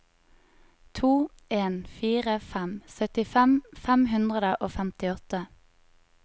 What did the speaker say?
to en fire fem syttifem fem hundre og femtiåtte